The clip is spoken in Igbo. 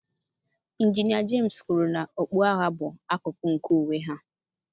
Injinia James kwuru na okpu agha bụ akụkụ nke uwe ha.